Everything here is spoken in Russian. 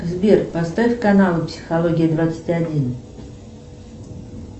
сбер поставь канал психология двадцать один